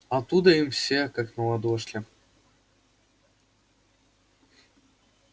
оттуда им все как на ладошке